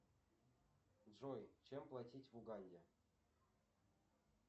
джой чем платить в уганде